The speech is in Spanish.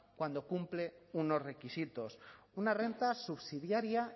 cuando cumple unos requisitos una renta subsidiaria